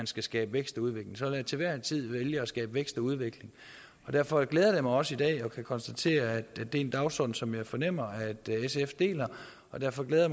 skal skabes vækst og udvikling så vil jeg til hver en tid vælge at skabe vækst og udvikling derfor glæder det mig også i dag at kunne konstatere at det er en dagsorden som jeg fornemmer at sf deler og derfor glæder